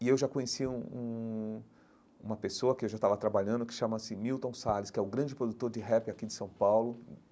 E eu já conhecia um um uma pessoa que eu já estava trabalhando, que chamava-se Milton Salles, que é o grande produtor de rap aqui de São Paulo.